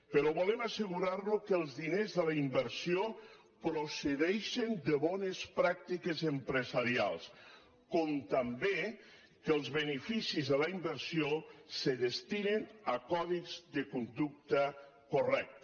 però volem asse·gurar·nos que els diners de la inversió procedeixen de bones pràctiques empresarials com també que els be·neficis de la inversió se destinen a codis de conducta correcta